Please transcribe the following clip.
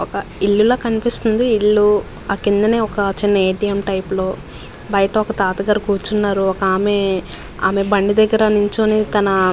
వక జీవం లాగా ఉనాది. ఏళ్ళు అట బయట వక టాటా గారు కోరుచోనారు అండ్ పక్కన వక ఆమె అమో తెసొకొన్తున్కది కూడా అండ్ --